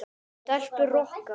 Stelpur Rokka!